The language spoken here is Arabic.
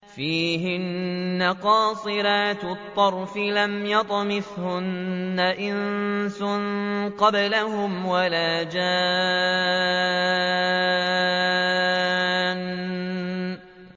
فِيهِنَّ قَاصِرَاتُ الطَّرْفِ لَمْ يَطْمِثْهُنَّ إِنسٌ قَبْلَهُمْ وَلَا جَانٌّ